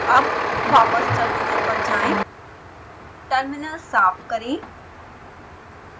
अब वापस टर्मिनल पर जाएं टर्मिनल साफ करें